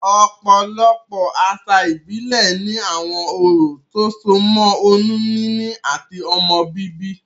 Òpòlopò àsà ìbílè ni àwon orò tó so mó oyún níní àti ọmọ bíbí